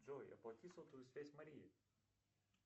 джой оплати сотовую связь марии